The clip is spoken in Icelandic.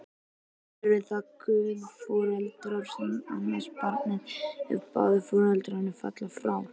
Eru það guðforeldrar sem annast barnið, ef báðir foreldrar falla frá?